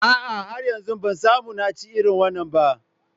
A'a, har yanzu ban samu na ci irin wannan ba